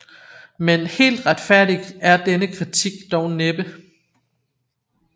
Men helt retfærdig er denne kritik dog næppe